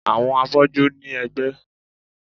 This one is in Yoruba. Àwọn afọ́jú ní ẹ̀gbẹ́